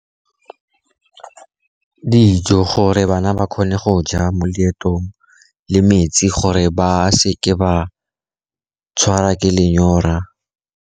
Dijo, gore bana ba kgone go ja mo leetong le metsi gore ba seke ba tshwarwa ke lenyora.